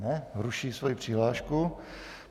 Ne, ruší svoji přihlášku.